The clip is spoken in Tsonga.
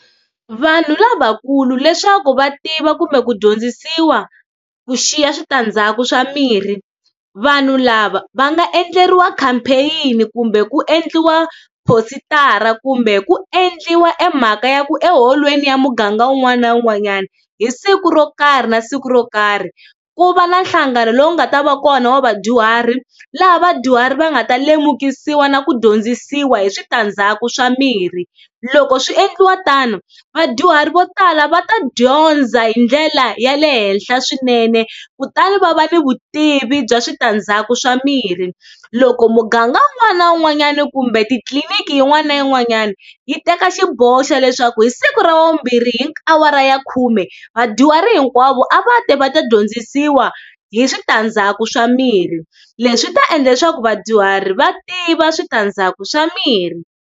Vanhu lavakulu leswaku va tiva kumbe ku dyondzisiwa ku xiya switandzhaku swa mirhi, vanhu lava va nga endleriwa campaign-ni kumbe ku endliwa tipositara kumbe ku endliwa emhaka ya ku eholweni ya muganga un'wana na un'wanyana, hi siku ro karhi na siku ro karhi ku va na nhlangano lowu nga ta va kona wa vadyuhari laha vadyuhari va nga ta lemukisiwi na ku dyondzisiwa hi switandzhaku swa mirhi. Loko swi endliwa tano vadyuhari vo tala va ta dyondza hi ndlela ya le henhla swinene kutani va va ni vutivi bya switandzhaku swa mirhi. Loko muganga un'wana na un'wanyana kumbe titliliniki yin'wana na yin'wanyana yi teka xiboho xa leswaku hi siku ra wavumbirhi hi awara ya khume vadyuhari hinkwavo a va ti va ta dyondzisiwa hi switandzhaku swa mirhi leswi swi ta endla leswaku vadyuhari va tiva switandzhaku swa mirhi.